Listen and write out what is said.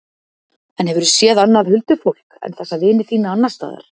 En hefurðu séð annað huldufólk en þessa vini þína, annars staðar?